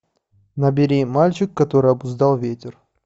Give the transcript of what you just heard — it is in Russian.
набери мальчик который обуздал ветер